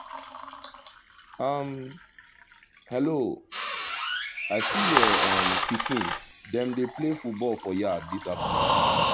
um hello! i see your um pikin dem dey play football for yard this afternoon